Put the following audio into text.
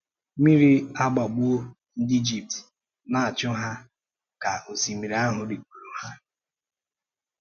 Mmiri agbàgbùọ ndị Íjípṭ na-achụ ha ka osimiri ahụ ríkpụ̀rụ ha.